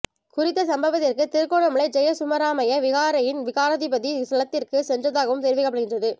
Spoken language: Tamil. குறித்த சம்பவத்திற்கு திருகோணமலை ஜெயசுமராமய விகாரையின் விகாராதிபதி ஸ்தலத்திற்கு சென்றதாகவும் தெரிவிக்கப்படுகின்றது